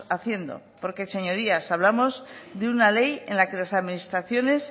haciendo porque señorías hablamos de una ley en la que las administraciones